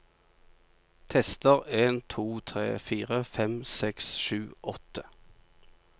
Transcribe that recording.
Tester en to tre fire fem seks sju åtte